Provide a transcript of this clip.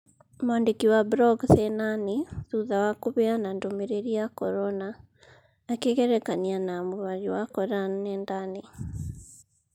Mwandĩki wa brog thĩĩna-inĩ thutha wa kũheana ndũmĩrĩri ya korona. Akĩgerekania na mũhari wa Koran nenda-inĩ.